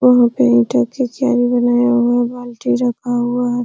वहाँ पे ईटों कि क्यारी बनाया हुआ है। बाल्टी रखा हुआ है।